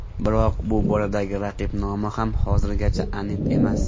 Biroq bu boradagi raqib nomi ham hozirgacha aniq emas.